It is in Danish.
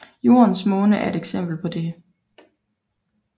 Jordens måne er et eksempel på dette